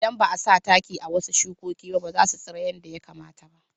Idan ba a sa taki a wasu shukoki ba, ba za su tsira yadda ya kamata ba.